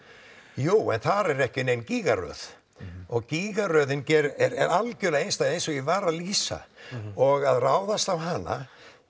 jú en þar er ekki nein gígaröð og gígaröðin er algjörlega einstæð eins og ég var að lýsa og að ráðast á hana